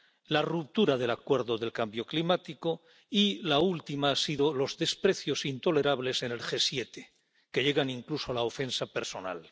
la ruptura del Acuerdo contra el cambio climático y la última han sido los desprecios intolerables en el G 7, que llegan incluso a la ofensa personal.